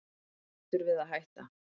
Hættur við að hætta